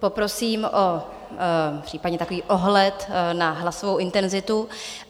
Poprosím případně o takový ohled na hlasovou intenzitu.